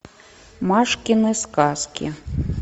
машкины сказки